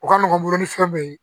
O ka nɔgɔn ni fɛn be yen